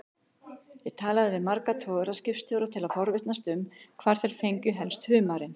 Ég talaði við marga togaraskipstjóra til að forvitnast um hvar þeir fengju helst humarinn.